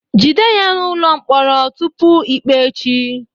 Jide ya n'ụlọ mkpọrọ tupu ikpe echi